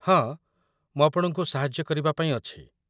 ହଁ, ମୁଁ ଆପଣଙ୍କୁ ସାହାଯ୍ୟ କରିବା ପାଇଁ ଅଛି ।